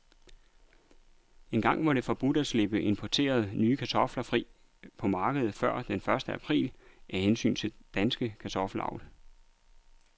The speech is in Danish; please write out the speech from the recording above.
Engang var det forbudt at slippe importerede, nye kartofler fri på markedet før den første april, af hensyn til dansk kartoffelavl.